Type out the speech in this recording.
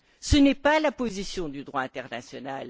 Ce n'est pas la position du droit international.